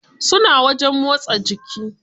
Suna wajen motsa jiki.